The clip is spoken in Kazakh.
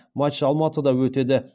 матч алматыда өтеді